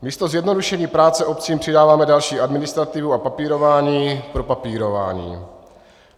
Místo zjednodušení práce obcím přidáváme další administrativu a papírování pro papírování.